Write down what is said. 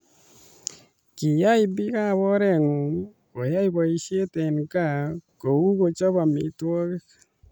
Kiyay biikab oreengwang koyay boisie eng kaa kou kocho amitwokik.